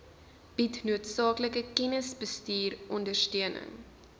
bied noodsaaklike kennisbestuurondersteuning